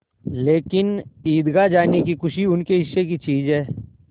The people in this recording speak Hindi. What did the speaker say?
लेकिन ईदगाह जाने की खुशी उनके हिस्से की चीज़ है